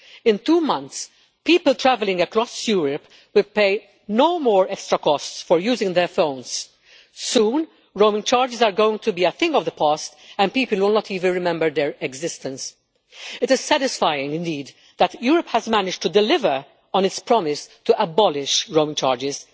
In two months, people travelling across Europe will pay no more extra costs for using their phones. Soon, roaming charges will be a thing of the past, and people will not even remember their existence. It is satisfying indeed that Europe has managed to deliver on its promise to abolish roaming charges.